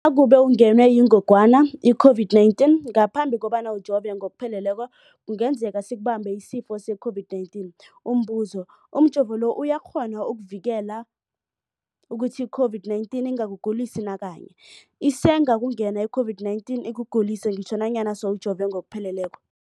Nakube ungenwe yingogwana i-COVID-19 ngaphambi kobana ujove ngokupheleleko, kungenzeka sikubambe isifo se-COVID-19. Umbuzo, umjovo lo uyakghona ukukuvikela ukuthi i-COVID-19 ingakugulisi nakanye? Isengakungena i-COVID-19 ikugulise ngitjho nanyana sewujove ngokupheleleko.